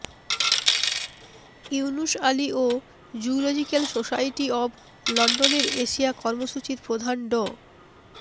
ইউনুস আলী ও zoological society of লন্ডনের Asia কর্মসূচির প্রধান ড